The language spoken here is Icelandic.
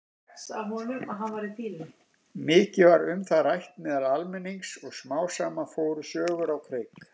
Mikið var um það rætt meðal almennings og smám saman fóru sögur á kreik.